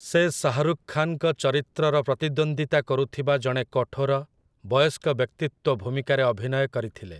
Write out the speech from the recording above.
ସେ ଶାହାରୁଖ୍ ଖାନ୍‌ଙ୍କ ଚରିତ୍ରର ପ୍ରତିଦ୍ୱନ୍ଦ୍ୱିତା କରୁଥିବା ଜଣେ କଠୋର, ବୟସ୍କ ବ୍ୟକ୍ତିତ୍ୱ ଭୂମିକାରେ ଅଭିନୟ କରିଥିଲେ ।